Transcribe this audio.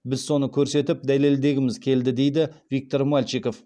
біз соны көрсетіп дәлелдегіміз келді дейді виктор мальчиков